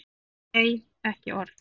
Nei, ekki orð.